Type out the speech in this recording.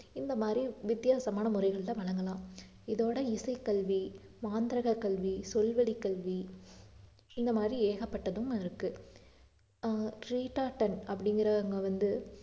இந்த மாதிரி வித்தியாசமான முறைகள்ல வழங்கலாம் இதோட இசைக்கல்வி, மாந்தரக கல்வி, சொல் வழி கல்வி இந்த மாதிரி ஏகப்பட்டதும் இருக்கு ஆஹ் அப்படிங்கிறவங்க வந்து